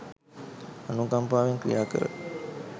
අනුකම්පාවෙන් ක්‍රියාකර